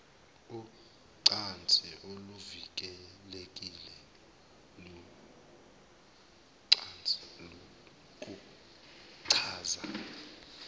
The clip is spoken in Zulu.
ucansi oluvikelekile kuchaza